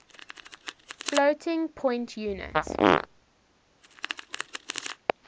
floating point unit